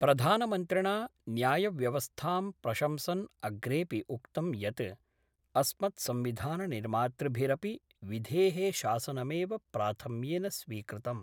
प्रधानमन्त्रिणा न्यायव्यवस्थां प्रशंसन् अग्रेपि उक्तम् यत् अस्मत्संविधाननिर्मातृभिरपि विधे: शासनमेव प्राथम्येन स्वीकृतम्।